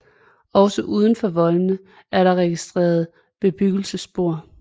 Også uden for voldene er der registreret bebyggelsesspor